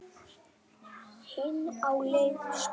Hin á leið í skóla.